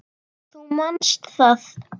Þú manst það.